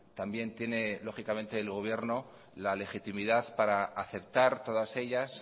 también tiene lógicamente el gobierno la legitimidad para aceptar todas ellas